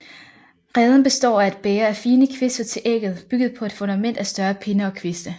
Reden består af et bæger af fine kviste til ægget bygget på et fundament af større pinde og kviste